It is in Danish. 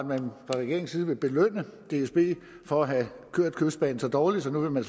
man fra regeringens side vil belønne dsb for at have kørt kystbanen så dårligt så nu vil man